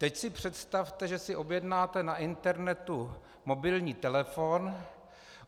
Teď si představte, že si objednáte na internetu mobilní telefon.